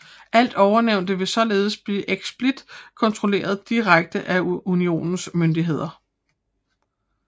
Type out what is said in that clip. Alt ovennævnte ville således blive eksplicit kontrolleret direkte af Unionens myndigheder